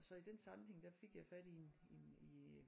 Så i den sammenhæng der fik jeg i en i en i en